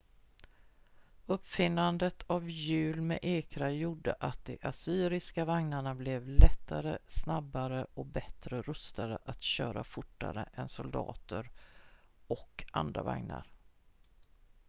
uppfinnandet av hjul med ekrar gjorde att de assyriska vagnarna blev lättare snabbare och bättre rustade att köra fortare än soldater och andra vagnar